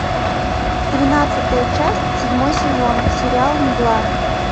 тринадцатая часть седьмой сезон сериал мгла